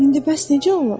İndi bəs necə olur?